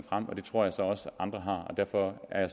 og det tror jeg så også andre har og derfor er